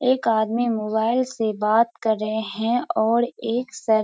एक आदमी मोबाइल से बात कर रहें हैं और एक सर --